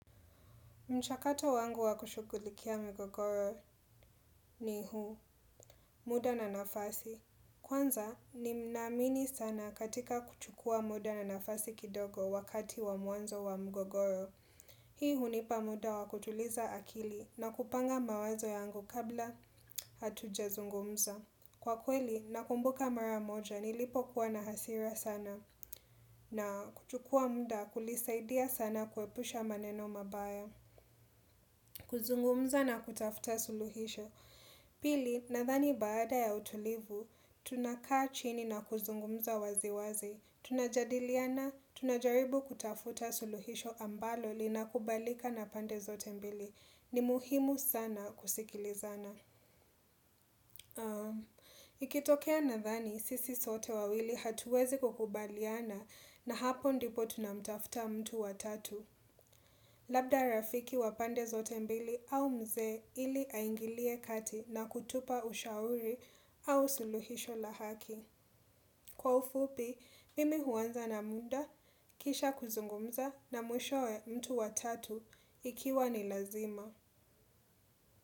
Mchakato wangu wa kushughulikia mgogoro ni huu, muda na nafasi. Kwanza nina amini sana katika kuchukua muda na nafasi kidogo wakati wa mwanzo wa mgogoro. Hii hunipa muda wa kutuliza akili na kupanga mawazo yangu kabla hatuja zungumza. Kwa kweli, nakumbuka mara moja nilipokuwa na hasira sana na kuchukua muda kulisaidia sana kuepusha maneno mabaya. Kuzungumza na kutafuta suluhisho. Pili, nathani baada ya utulivu, tunakaa chini na kuzungumza waziwazi. Tunajadiliana, tunajaribu kutafuta suluhisho ambalo lina kubalika na pande zote mbili. Ni muhimu sana kusikilizana. Ikitokea nathani, sisi sote wawili hatuwezi kukubaliana. Na hapo ndipo tunamtafuta mtu wa tatu. Labda rafiki wa pande zote mbili au mzee ili aingilie kati na kutupa ushauri au suluhisho la haki. Kwa ufupi, mimi huanza na muda, kisha kuzungumza na mwishoe mtu wa tatu ikiwa ni lazima.